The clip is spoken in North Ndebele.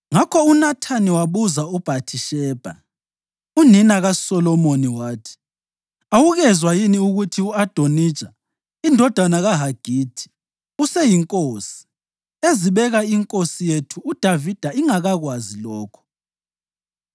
Ngakho uNathani wabuza uBhathishebha, unina kaSolomoni wathi, “Awukezwa yini ukuthi u-Adonija, indodana kaHagithi, useyinkosi, ezibeka inkosi yethu uDavida ingakakwazi lokho?